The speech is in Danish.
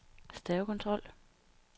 stavekontrol